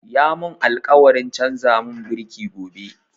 Ya mun alkawarin canza mun biriki gobe